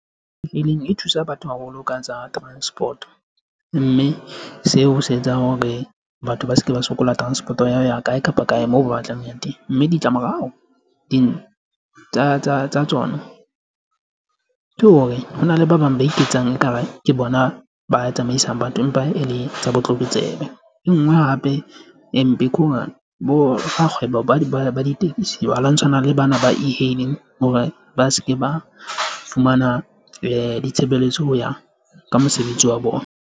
E-hailing e thusa batho haholo ka tsa transport, o mme seo se etsang hore batho ba se ke ba sokola transport-o ya ho ya kae kapa kae moo ba batlang ho yang teng, mme ditlamorao tsa tsona ke hore hona le ba bang ba iketsang ekare ke bona ba tsamaisang batho empa e le tsa botlokotsebe. E nngwe hape e mpe bo rakgwebo ba ditekisi ba lwantshana le bana ba E-hailing hore ba se ke ba fumana ditshebeletso ho ya ka mosebetsi wa bona.